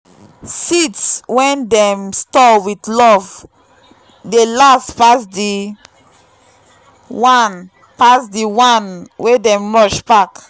seeds when dem store with love dey last pass the one pass the one wey dem rush pack